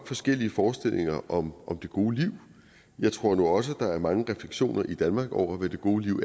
forskellige forestillinger om det gode liv jeg tror nu også at der er mange refleksioner i danmark over hvad det gode liv